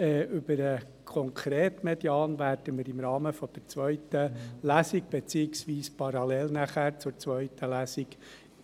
Über den konkreten Median werden wir im Rahmen der zweiten Lesung, beziehungsweise parallel zur zweiten Lesung